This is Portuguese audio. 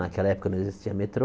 Naquela época não existia metrô.